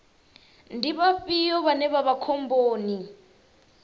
ndi vhafhio vhane vha vha khomboni